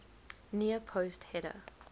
near post header